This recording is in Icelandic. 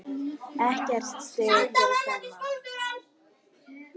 Ekkert stig fyrir þennan.